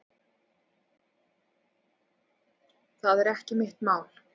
Það er ekki mitt mál.